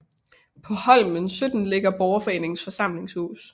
På Holmen 17 ligger Borgerforeningens forsamlingshus